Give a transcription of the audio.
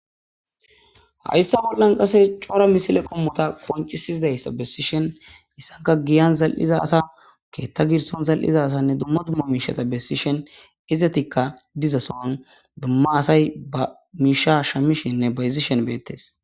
hayssa bollan qase cora misile qommota koncisizidayssa bessishen haysassanka giyan zal7iza asa keetta girson zal7iza sanne dumma dumma miishata bessishen izetikka diza soon bema asay ba miisha shamishinne bayzishen beettes